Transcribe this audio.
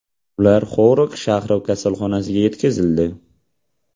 Ular Xorog shahri kasalxonasiga yetkazildi.